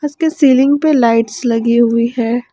इसके सीलिंग पर लाइट्स लगी हुई है।